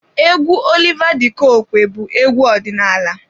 Egwu Oliva de coque bụ egwu ọdịnaala.